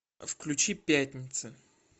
включи пятница